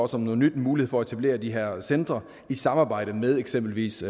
som noget nyt en mulighed for at etablere de her centre i samarbejde med eksempelvis